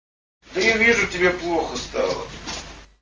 я вижу тебе плохо стало